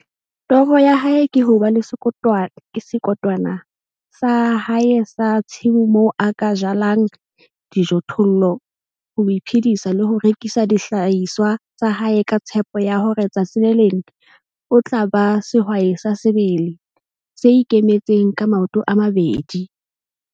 Toro ya hae ke ho ba le sekotwana sa hae sa tshimo moo a ka jalang dijothollo ho iphedisa le ho rekisa dihlahiswa tsa hae ka tshepo ya hore tsatsi le leng o tla ba sehwai sa sebele, se ikemetseng ka maoto a mabedi.